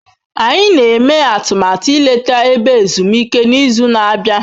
Anyị na-eme atụmatụ ileta ebe ezumike n'izu na-abịa.